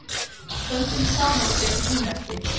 Stöndum saman gegn einelti